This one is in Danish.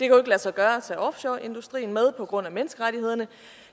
lade sig gøre at tage offshoreindustrien med på grund af menneskerettighederne